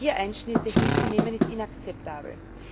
Hier Einschnitte hinzunehmen, ist inakzeptabel.